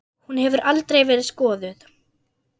Hún hefur aldrei verið skoðuð.